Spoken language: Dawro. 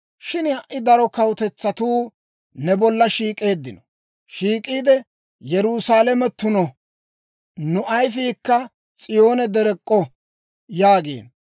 Shin ha"i daro kawutetsatuu ne bolla shiik'eeddino; shiik'iide, «Yerusaalame tuno; nu ayifiikka S'iyoone derek'k'o» yaagiino.